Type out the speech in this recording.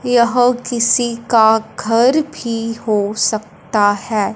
यह किसी का घर भी हो सकता है।